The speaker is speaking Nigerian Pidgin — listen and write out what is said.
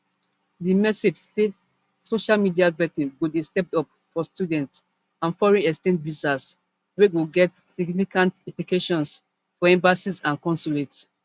di message say social media vetting go dey stepped up for student and foreign exchange visas wey go get significant implications for embassies and consulates